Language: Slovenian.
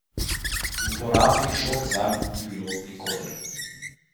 Uporabnih žog zanj ni bilo od nikoder.